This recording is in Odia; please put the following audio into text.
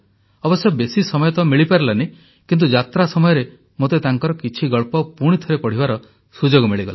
ଅବଶ୍ୟ ବେଶୀ ସମୟ ତ ମିଳିପାରିଲାନି କିନ୍ତୁ ଯାତ୍ରା ସମୟରେ ମୋତେ ତାଙ୍କର କିଛି ଗଳ୍ପ ପୁଣିଥରେ ପଢ଼ିବାର ସୁଯୋଗ ମିଳିଗଲା